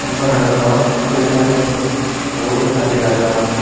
gorano daw doley sajeyon bod ekkan dega jar.